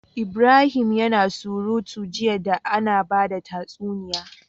Ibrahim yAna surutu jiya da Ana bada tatsuniya